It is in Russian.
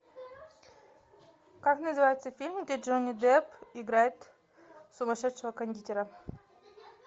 как называется фильм где джонни депп играет сумасшедшего кондитера